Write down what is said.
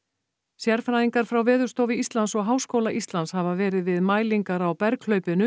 sérfræðingar frá Veðurstofu Íslands og Háskóla Íslands hafa verið við mælingar á